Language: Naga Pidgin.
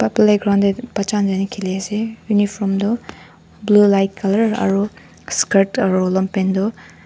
pl playground tey bacha khan luikena khili ase uniform tu blue light color aro skirt aru longpant tu--